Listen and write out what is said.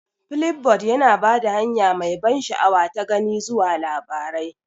Flipboard yana ba da hanya mai ban sha'awa ta gani zuwa labarai.